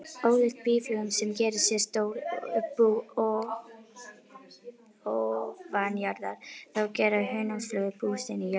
Ólíkt býflugum sem gera sér stór bú ofanjarðar, þá gera hunangsflugur bú sín í jörðu.